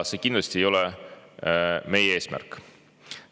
See kindlasti ei ole meie eesmärk.